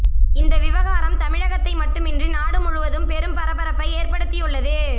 இந்த விவகாரம் தமிழகத்தை மட்டுமின்றி நாடு முழுவதும் பெரும் பரபரப்பை ஏற்படுத்தி உள்ளது